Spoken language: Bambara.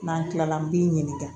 N'an kilala an b'i ɲininka